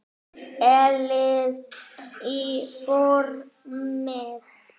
Hellið í formið.